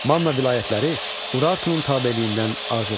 Manna vilayətləri Urartunun tabeliyindən azad oldu.